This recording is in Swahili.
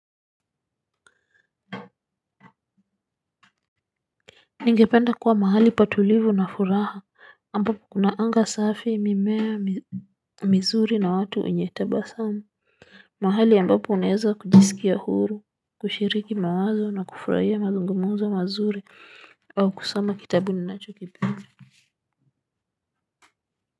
Ningependa kuwa mahali pa utulivu na furaha. Ambapo kuna anga safi, mimea mizuri na watu wenyetaba samu, mahali ambapo unaeza kujisikia huru, kushiriki mawazo na kufurahia mazungumuzo mazuri, au kusoma kitabu ninacho kipenda.